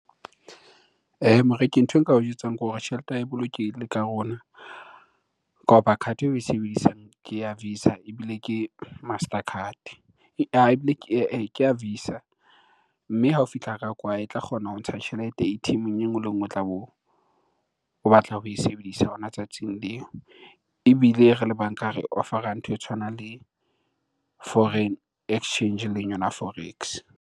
Moreki nthwe nka o jwetsang ke hore tjhelete ya e bolokehile ka rona. Ka hoba card-e eo e sebedisang ke ya visa ebile ke master card ke ya visa. Mme hao fihla ka kwa e tla kgona ho ntsha tjhelete A_T_M-eng e nngwe le e nngwe o tlabe o batla ho e sebedisa hona tsatsing leo. Ebile re le banka re offer-ra ntho e tshwanang le foreign exchange eleng yona forex.